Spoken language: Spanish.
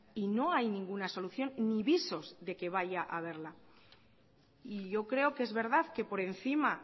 y no hay ninguna solución ni visos de que vaya a haberla y yo creo que es verdad que por encima